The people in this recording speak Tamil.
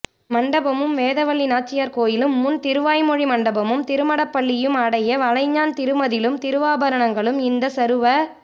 மண்டபமும் வேதவல்லி நாச்சியார் கோயிலும் முன் திருவாய்மொழி மண்டபமும் திருமடப்பள்ளியும் அடைய வளைஞ்சாந் திருமதிளும் திருவாபரணங்களும் யிந்த ஸறுவ